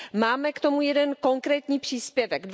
Máme k tomu jeden konkrétní příspěvek.